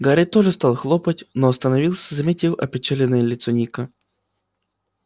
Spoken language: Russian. гарри тоже стал хлопать но остановился заметив опечаленное лицо ника